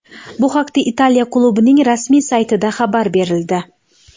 Bu haqda Italiya klubining rasmiy saytida xabar berildi .